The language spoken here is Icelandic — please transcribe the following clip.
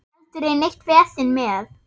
Aldrei neitt vesen með